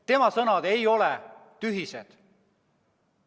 Tema sõnad ei ole tühised.